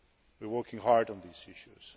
we are working hard on these issues.